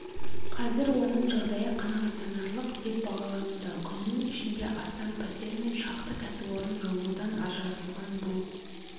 қазір оның жағдайы қанағаттанарлық деп бағалануда күннің ішінде астам пәтер мен шақты кәсіпорын жылудан ажыратылған бұл